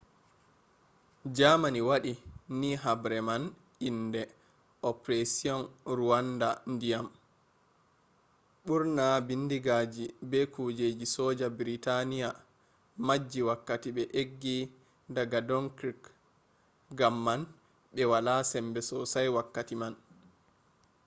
germany wadi ni habre man inde operasion rawandu dyam”. burna bindigaji be kujeji soja britania majji wakkati be eggi daga dunkirk gam man be wala sembe sosai wakkati man